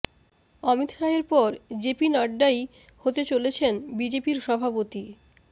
অমিত শাহের পর জেপি নড্ডাই হতে চলেছেন বিজেপির সভাপতি